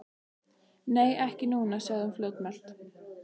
Nei, ekki núna, sagði hún fljótmælt.